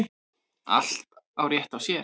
Allt á rétt á sér.